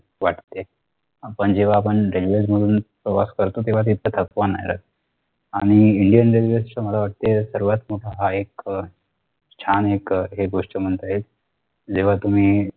वाटते आपण जेव्हा आपण railway मधून प्रवास करतो तेव्हा तिथे थकवा नाही राहत आणि indian railway चे मला वाटते सर्वात मोठा हा एक अह छान एक अह हे गोष्ट म्हणता येईल जेव्हा तुम्ही